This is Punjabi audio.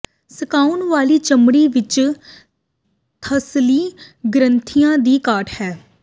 ਸੁਕਾਉਣ ਵਾਲੀ ਚਮੜੀ ਵਿੱਚ ਥੰਸਲੀ ਗ੍ਰੰਥੀਆਂ ਦੀ ਘਾਟ ਹੈ